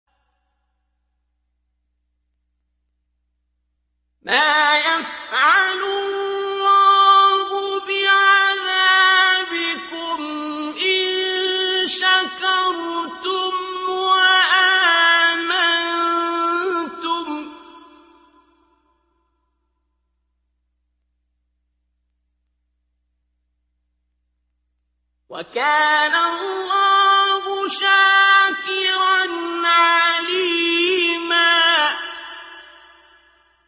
مَّا يَفْعَلُ اللَّهُ بِعَذَابِكُمْ إِن شَكَرْتُمْ وَآمَنتُمْ ۚ وَكَانَ اللَّهُ شَاكِرًا عَلِيمًا